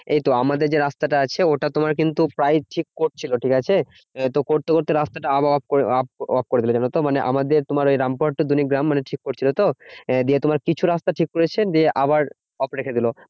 এইতো আমাদের যে রাস্তাটা আছে ওটা তোমার কিন্তু প্রায় check করছিলো ঠিকাছে? আহ তো করতে করতে রাস্তাটা আবার off করে off করে দিলো জানতো? মানে আমাদের তোমার এই রামপুরহাট to দলিগ্রাম মানে ঠিক করছিলো তো? আহ দিয়ে তোমার কিছু রাস্তা ঠিক করেছে। দিয়ে আবার off রেখে দিলো।